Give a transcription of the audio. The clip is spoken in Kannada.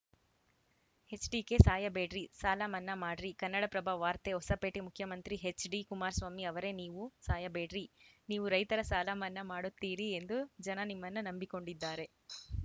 ಎಚ್‌ಡಿಕೆ ಸಾಯಬೇಡ್ರಿ ಸಾಲ ಮನ್ನಾ ಮಾಡ್ರಿ ಕನ್ನಡಪ್ರಭ ವಾರ್ತೆ ಹೊಸಪೇಟೆ ಮುಖ್ಯಮಂತ್ರಿ ಎಚ್‌ ಡಿ ಕುಮಾರಸ್ವಾಮಿ ಅವರೇ ನೀವು ಸಾಯಬೇಡ್ರಿ ನೀವು ರೈತರ ಸಾಲ ಮನ್ನಾ ಮಾಡುತ್ತೀರಿ ಎಂದು ಜನ ನಿಮ್ಮನ್ನ ನಂಬಿಕೊಂಡಿದ್ದಾರೆ